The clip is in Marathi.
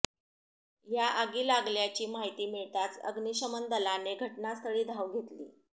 या आगी लागल्याची माहिती मिळताच अग्निशमन दलाने घटनास्थळी धाव घेतली